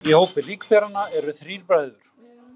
Í hópi líkberanna eru þrír bræður